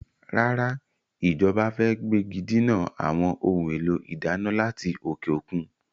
Rárá, Ìjọba fẹ gbégidinà àwọn ohun èlò ìdáná láti òkè òkun.